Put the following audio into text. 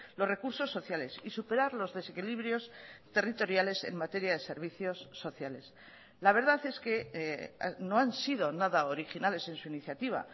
los recursos sociales y superar los desequilibrios territoriales en materia de servicios sociales la verdad es que no han sido nada originales en su iniciativa